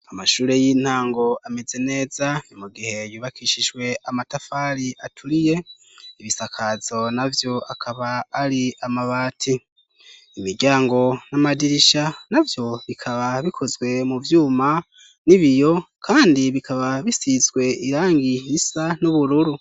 Amashure y'intango ameze neza mu gihe yubakishijwe amatafari aturiye, ibisakazo navyo akaba ari amabati. Imiryango n'amadirisha na vyo bikaba bikozwe mu vyuma n'ibiyo kandi bikaba bisizwe irangi risa n'ubururu.